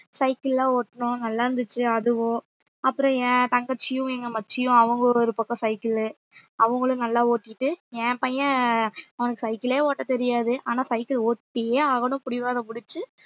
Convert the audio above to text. cycle லாம் ஓட்டுனோம் நல்லாருந்துச்சு அதுவும் அப்புறம் என் தங்கச்சியும் எங்க மச்சியும் அவங்க ஒரு ஒரு பக்கம் cycle லு அவங்களும் நல்லா ஓட்டிட்டு என் பையன் அவனுக்கு சைக்கிளே ஓட்டத் தெரியாது ஆனா cycle ஒட்டியே ஆகணும் பிடிவாதம் பிடிச்சு